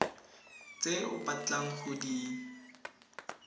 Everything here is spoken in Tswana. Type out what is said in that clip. tse o batlang go di